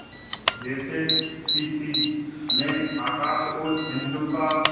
जैसे क्षितिज में आकाश और सिंधु का